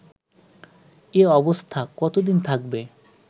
এ অবস্থা কতোদিন থাকবে